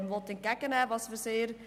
dies begrüssen wir sehr.